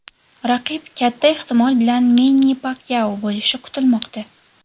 Raqib katta ehtimol bilan Menni Pakyao bo‘lishi kutilmoqda.